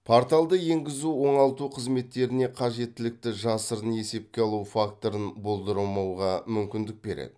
порталды енгізу оңалту қызметтеріне қажеттілікті жасырын есепке алу факторын болдырмауға мүмкіндік береді